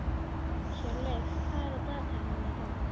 Hjörleif, hvað er á dagatalinu mínu í dag?